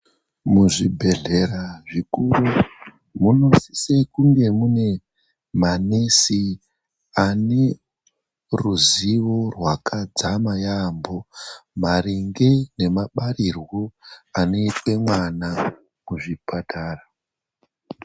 Muzvibhedhlera zvikuru munosise kunge mune manesi ane ruzivo rwakadzama yaamho maringe nemabarirwo anoitwe mwana kuzvipatara.